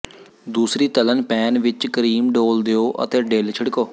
ਦੂਸਰੀ ਤਲ਼ਣ ਪੈਨ ਵਿਚ ਕਰੀਮ ਡੋਲ੍ਹ ਦਿਓ ਅਤੇ ਡਿਲ ਛਿੜਕੋ